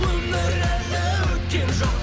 өмір әлі өткен жоқ